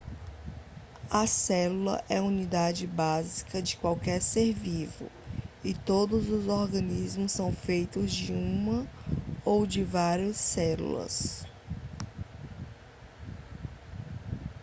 a célula é a unidade básica de qualquer ser vivo e todos os organismos são feitos de uma ou de várias células